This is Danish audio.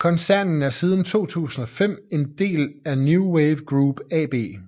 Koncernen er siden 2005 en del af New Wave Group AB